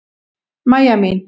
Mæja mín!